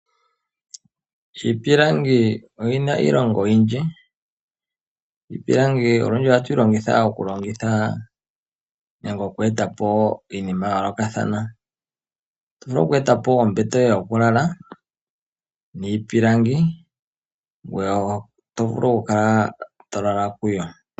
Iipilangi oyina iilonga oyindji. Iipilangi olundji ohatu yilongitha oku longitha nenge oku etapo iinima ya yoolokathana. Oto vulu oku etapo ombete yoye yokulala niipilangi, ngoye oto vulu okukala tolala kuyo.